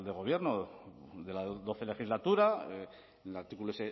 gobierno de la doce legislatura en el artículo